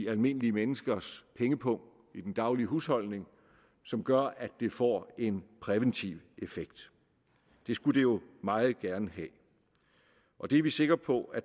almindelige menneskers pengepung i den daglige husholdning som gør at det får en præventiv effekt det skulle det jo meget gerne have og det er vi sikre på at